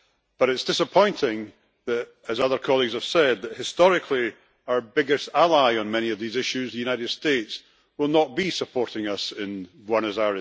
But it is disappointing that, as other colleagues have said, historically, our biggest ally on many of these issues, the United States, will not be supporting us in Buenos Aires.